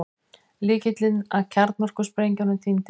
Lykillinn að kjarnorkusprengjunum týndist